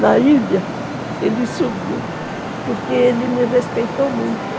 na ilha, ele subiu, porque ele me respeitou muito.